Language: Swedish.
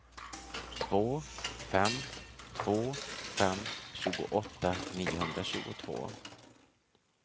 två fem två fem tjugoåtta niohundratjugotvå